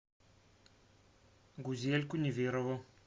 гузельку неверову